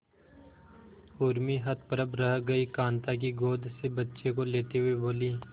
उर्मी हतप्रभ रह गई कांता की गोद से बच्चे को लेते हुए बोली